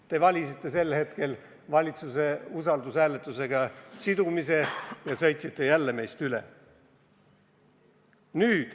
Te valisite siis eelnõu sidumise valitsuse usaldushääletusega ja sõitsite jälle meist üle.